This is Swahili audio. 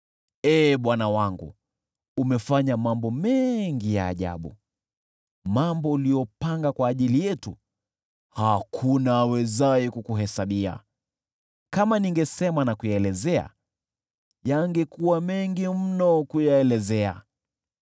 Ee Bwana Mungu wangu, umefanya mambo mengi ya ajabu. Mambo uliyopanga kwa ajili yetu hakuna awezaye kukuhesabia; kama ningesema na kuyaelezea, yangekuwa mengi mno kuyaelezea.